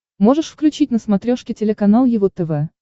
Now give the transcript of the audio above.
можешь включить на смотрешке телеканал его тв